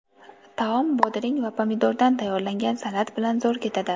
Taom bodring va pomidordan tayyorlangan salat bilan zo‘r ketadi.